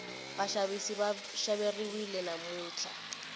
vaxavisi va xaveriwile namuntlha